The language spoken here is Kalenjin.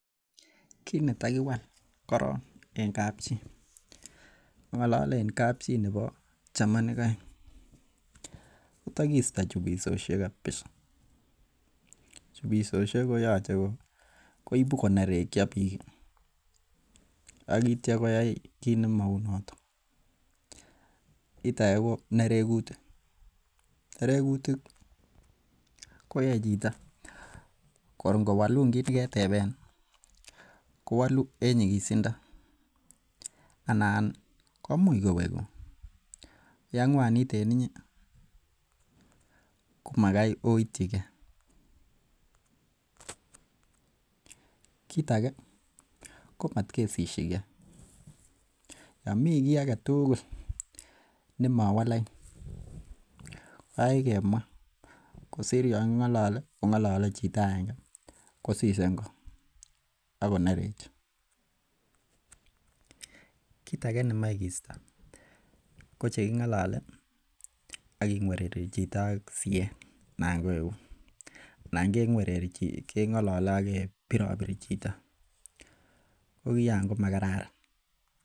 Kinetokiwa koron en kab chi, ang'olalen kab chi nebo chamanik aeng, ko tokisto chubisosiek kabisa chubisosiek koyoche koibu konerekso bik ak itio koyoi kit nimounoto kit age ko nerekuti, nerekuti koyoe chito kor ingowolun kit neketeben kowolu en nyikisindo anan ko imuch kowegun ko yang'uanit en inye ko magoi oityi ge. kit age komot kesisiege, Yoon mi ki age tugul nemowo lain ko kaikai kemua kosir Yoon king'aloli king'alole chito agenge kosise ingo Ako nereche. Kit age nemoche keisto ko che king'alole aking'uereri chito ak site anan ko eut anan keng'alale ak kebirobiri chito ko kion komo kararan